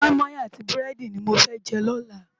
Mòimòi áti búrèdi ni mó fè jè lòlá